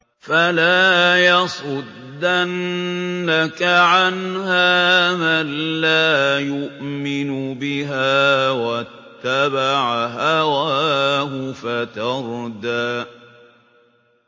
فَلَا يَصُدَّنَّكَ عَنْهَا مَن لَّا يُؤْمِنُ بِهَا وَاتَّبَعَ هَوَاهُ فَتَرْدَىٰ